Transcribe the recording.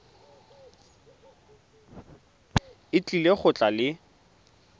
o tlile go tla le